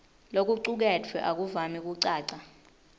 lokucuketfwe akuvami kucaca